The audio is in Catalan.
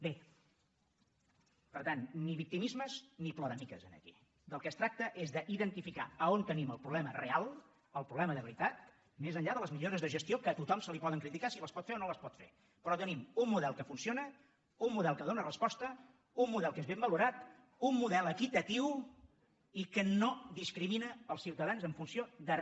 bé per tant ni victimismes ni ploramiques aquí del que es tracta és d’identificar on tenim el problema real el problema de veritat més enllà de les millores de gestió que a tothom se li poden criticar si les pot fer o no les pot fer però tenim un model que funciona un model que dóna resposta un model que és ben valorat un model equitatiu i que nodans en funció de re